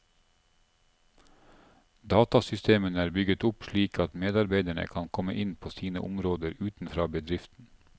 Datasystemene er bygget opp slik at medarbeiderne kan komme inn på sine områder utenfra bedriften.